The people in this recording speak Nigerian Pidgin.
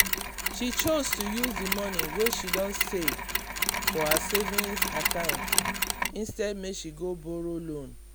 she choose to use the money wey she don save for her savings account instead make she go borrow loan.